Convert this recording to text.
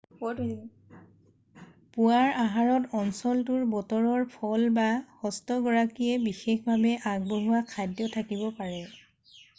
পুৱাৰ আহাৰত অঞ্চলটোৰ বতৰৰ ফল বা হ'ষ্টগৰাকীয়ে বিশেষভাৱে আগবঢ়োৱা খাদ্য থাকিব পাৰে